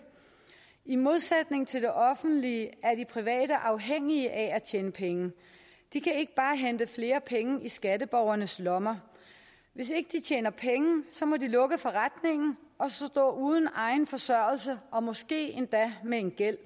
i modsætning til det offentlige er de private afhængige af at tjene penge de kan ikke bare hente flere penge i skatteborgernes lommer hvis ikke de tjener penge må de lukke forretningen og så stå uden egen forsørgelse og måske endda med en gæld